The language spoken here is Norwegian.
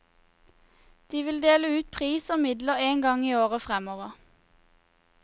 De vil dele ut pris og midler en gang i året fremover.